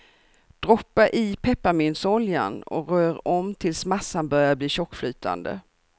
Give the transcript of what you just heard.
Droppa i pepparmyntsoljan och rör om tills massan börjar bli tjockflytande.